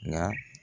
Nka